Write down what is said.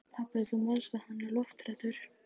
Pabbi, þú manst að hann er lofthræddur.